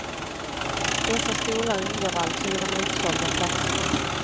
Dessa stolar ingår alltså i de utsålda platserna.